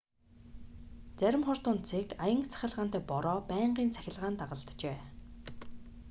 зарим хур тунадасыг аянга цахилгаантай бороо байнгын цахилгаан дагалджээ